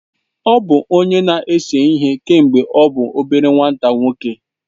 Ọ bụ onye na-ese ihe kemgbe ọ bụ obere nwa nwoke.